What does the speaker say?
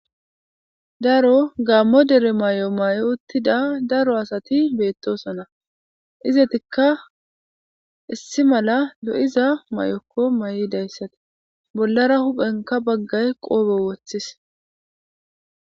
daro gammo dere mayo mayi uttida daro asati beettosona izetikka issi mala lo7iza mayokko mayidayssati bollara huphenka baggay qoobe woththis